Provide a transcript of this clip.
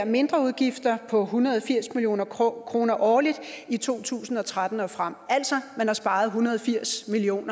mindreudgifter på en hundrede og firs million kroner kroner årligt i to tusind og tretten og frem man altså sparet en hundrede og firs million